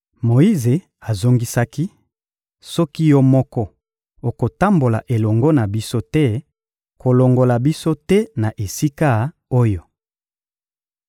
Moyize azongisaki: — Soki Yo moko okotambola elongo na biso te, kolongola biso te na esika oyo.